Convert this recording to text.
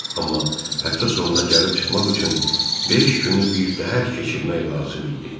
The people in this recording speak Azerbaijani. Amma həftə sonuna gəlib çıxmaq üçün beş günü bir təhər keçirmək lazım idi.